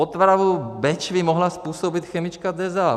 Otravu Bečvy mohla způsobit chemička DEZA.